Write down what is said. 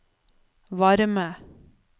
varme